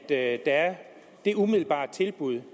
at der er det umiddelbare tilbud